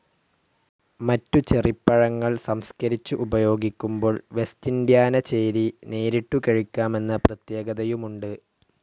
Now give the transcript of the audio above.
മറ്റുചെറിപ്പഴങ്ങൾ സംസ്കരിച്ചു ഉപയോഗിക്കുമ്പോൾ വെസ്റ്റിൻഡ്യാന ചേരി നേരിട്ടു കഴിക്കാമെന്ന പ്രത്യേകതയുമുണ്ടു.